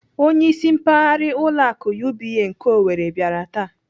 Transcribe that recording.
Onyeisi mpaghara ụlọ akụ UBA nke Owerri bịara taa.